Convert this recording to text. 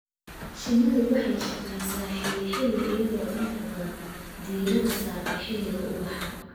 Shinnidu waxay shaqeysaa xilli xilli, iyadoo inta badan diiradda saarta xilliga ubaxa.